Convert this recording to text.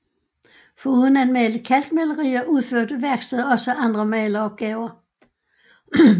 Foruden at male kalkmalerier udførte værkstedet også andre maleropgaver